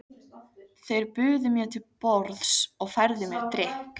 Þeir buðu mér til borðs og færðu mér drykk.